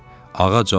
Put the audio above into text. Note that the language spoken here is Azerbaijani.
Ağa cavab verdi.